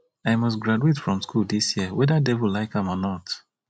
i must graduate from school dis year whether devil like am or not